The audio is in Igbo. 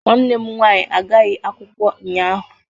Nwanne m nwaanyị agaghị akwụkwọ ụnyaahụ.